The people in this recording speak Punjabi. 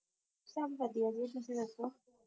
ਸਭ ਵਧੀਆ ਜੀ ਤੁਸੀਂ ਦੱਸੋ?